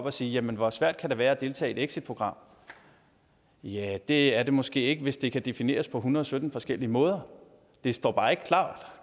at sige jamen hvor svært kan det være at deltage i exitprogram ja det er det måske ikke hvis det kan defineres på hundrede og sytten forskellige måder det står bare ikke